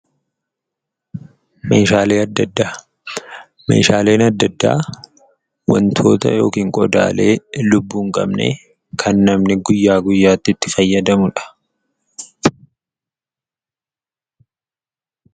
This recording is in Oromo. Meeshaaleen adda addaa wantoota yookiin meeshaalee lubbuu hin qabne kan namni guyyaa guyyaatti itti fayyadamudha.